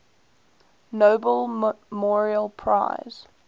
nobel memorial prize